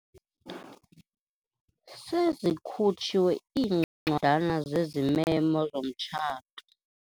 Sezikhutshiwe iincwadana zezimemo zomtshato.